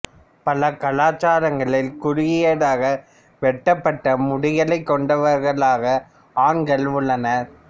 பல கலாச்சாரங்களில் குறுகியதாக வெட்டப்பட்ட முடிகளைக் கொண்டவர்களாக ஆண்கள் உள்ளனர்